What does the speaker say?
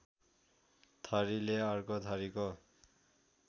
थरीले अर्को थरीको